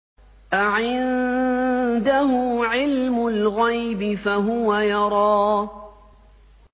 أَعِندَهُ عِلْمُ الْغَيْبِ فَهُوَ يَرَىٰ